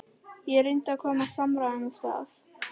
Ég reyndi að koma samræðum af stað.